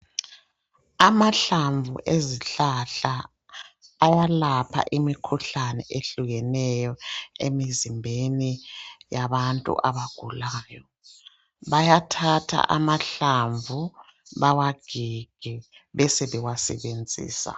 Amahlamvu ezihlahla ayalapha imikhuhlane ehlukeneyo emizimbeni yabantu abagulayo. Bayathatha amahlamvu bawagige besebewasebenzisa.